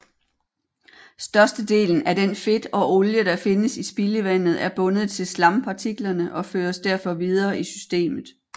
Størstedelen af den fedt og olie der findes i spildevandet er bundet til slampartiklerne og føres derfor videre i systemet